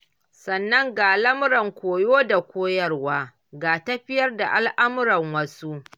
Sannan ga lamuran koyo da koyarwa, ga tafiyar da al'amuran wasu.